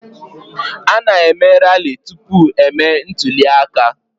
A na-eme rali tupu emee ntụli aka.